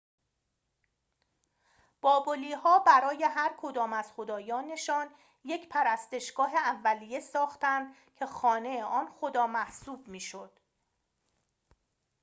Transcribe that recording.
بابلی‌ها برای هرکدام از خدایانشان یک پرستشگاه اولیه ساختند که خانه آن خدا محسوب می‌شد